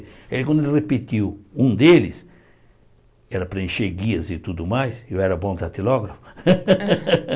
Aí quando ele repetiu um deles, era para encher guias e tudo mais, eu era bom datilógrafo.